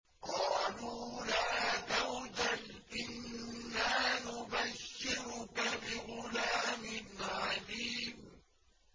قَالُوا لَا تَوْجَلْ إِنَّا نُبَشِّرُكَ بِغُلَامٍ عَلِيمٍ